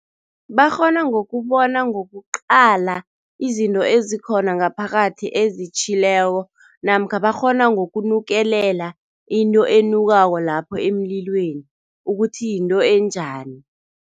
Bakghona ngokubona ngokuqala izinto ezikhona ngaphakathi ezitjhileko namkha bakghona ngokunukelela into enukako lapho emlilweni ukuthi yinto enjani.